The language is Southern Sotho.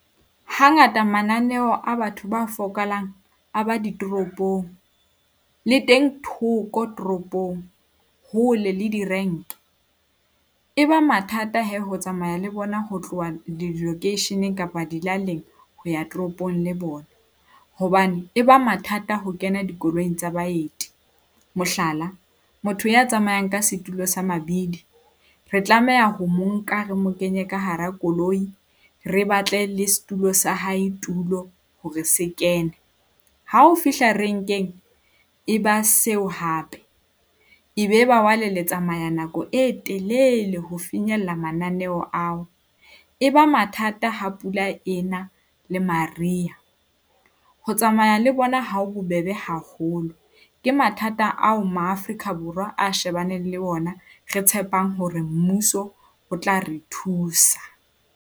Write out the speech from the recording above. Hangata mananeo a batho ba a ba ditoropong, le teng thoko toropong hole le di-rank. E ba mathata he ho tsamaya le bona ho tloha lekeisheneng kapa dilaleng ho ya toropong le bona hobane, e ba mathata ho kena dikoloing tsa baeti. Mohlala, motho ya tsamayang ka setulo sa mabidi, re tlameha ho mo nka re mo kenye ka hara koloi, re batlele setulo sa hae tulo hore se kene. Ha o fihla renkeng e ba seo hape e be ba le tsamaya nako e telele ho finyella mananeo ao. E ba mathata ha pula ena le Mariha, ho tsamaya le bona ha ho bobebe haholo. Ke mathata ao Maafrika Borwa a shebaneng le ona re tshepang hore mmuso o tla re thusa.